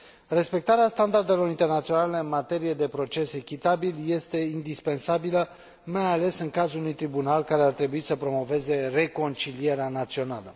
Respectarea standardelor internaționale în materie de proces echitabil este indispensabilă, mai ales în cazul unui tribunal care ar trebui să promoveze reconcilierea națională.